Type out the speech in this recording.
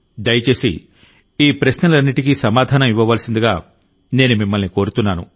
దయచేసి ఈ ప్రశ్నలన్నింటికీ సమాధానం ఇవ్వవలసిందిగా నేను మిమ్మల్నికోరుతున్నాను